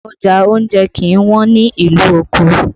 Ọjà oúnjẹ kì í wọ́n ní ìlú Òkò